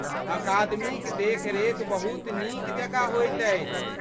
अकादमीक देखरेख बहुत नीक जकाँ होइत अछि।